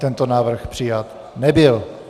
Tento návrh přijat nebyl.